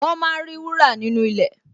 Wọ́n máa ń rí wúrà nínú ilẹ̀